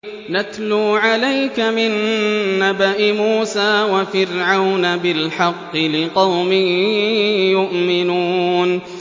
نَتْلُو عَلَيْكَ مِن نَّبَإِ مُوسَىٰ وَفِرْعَوْنَ بِالْحَقِّ لِقَوْمٍ يُؤْمِنُونَ